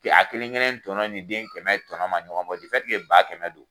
a kelen kelen tɔnɔ ni den kɛnɛ tɔnɔ ma ɲɔgɔn bɔ ba kɛnɛ don